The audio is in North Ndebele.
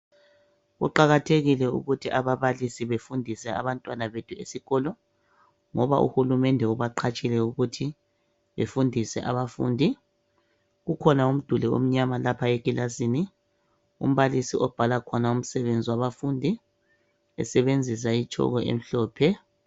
Kuqakathekile ukuthi ababalisi befundise abantwana bethu esikolo, ngoba uhulumende ubaqhatshile ukuthi befundise abafundi, kukhona umduli omnyama lapha ekilasini, umbalisi obhala khona umsebenzi wabafundi esebenzisa itshoko emhlophe.